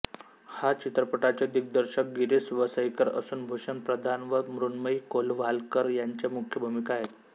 ह्या चित्रपटाचे दिग्दर्शक गिरीश वसईकर असून भूषण प्रधान व मृण्मयी कोलवालकर ह्यांच्या मुख्य भूमिका आहेत